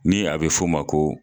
Ni a bɛ f'o ma ko